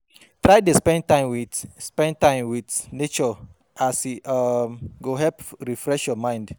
Try dey spend time wit spend time wit nature as e um go help refresh yur mind